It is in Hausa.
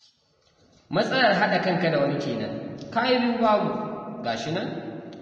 Matsalar haɗa kanka da wani kenan, ka yi biyu babu ga shi nan